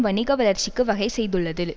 வணிக வளர்ச்சிக்கு வகை செய்துள்ளது